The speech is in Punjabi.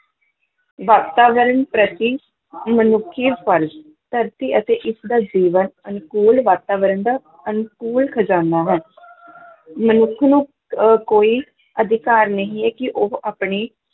ਵਾਤਾਵਰਣ ਪ੍ਰਤੀ ਮਨੁੱਖੀ ਫ਼ਰਜ਼, ਧਰਤੀ ਅਤੇ ਇਸ ਦਾ ਜੀਵਨ ਅਨੁਕੂਲ ਵਾਤਾਵਰਨ ਦਾ ਅਨੁਕੂਲ ਖ਼ਜ਼ਾਨਾ ਹੈ ਮਨੁੱਖ ਨੂੰ ਅਹ ਕੋਈ ਅਧਿਕਾਰ ਨਹੀਂ ਹੈ ਕਿ ਉਹ ਆਪਣੇ